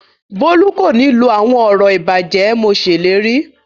Bólú kò ní lọ àwọn ọ̀rọ̀ ìbàjẹ́ mo ṣèlérí